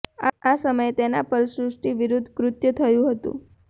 આ સમયે તેના પર સૃષ્ટિ વિરૃધ્ધ કૃત્ય થયું હતુ